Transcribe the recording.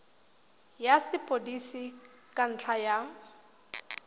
ya sepodisi ka ntlha ya